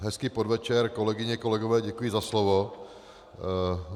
Hezký podvečer, kolegyně, kolegové, děkuji za slovo.